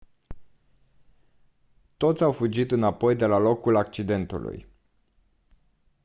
toți au fugit înapoi de la locul accidentului